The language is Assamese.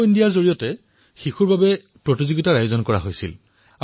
খেলো ইণ্ডিয়াৰ অধীনত শিশুসকলৰ মাজত খেল প্ৰতিযোগিতাৰ আয়োজন কৰা হৈছিল